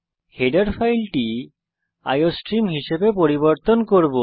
header ফাইলটি iostream হিসাবে পরিবর্তন করব